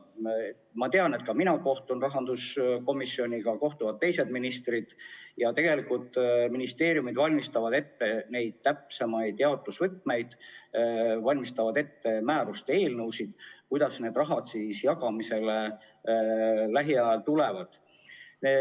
Ma tean, et mina kohtun rahanduskomisjoniga, kohtuvad ka teised ministrid, ning ministeeriumid valmistavad ette täpsemaid jaotusvõtmeid, valmistavad ette määruste eelnõusid, kuidas see raha lähiajal jagamisele tuleb.